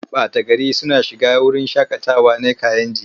Ɓata gari suna shiga wurin shaƙatawa na Kayenji.